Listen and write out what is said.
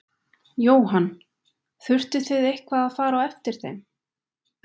Jóhann: Þurftuð þið eitthvað að fara á eftir þeim?